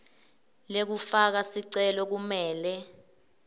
lekufaka sicelo kumele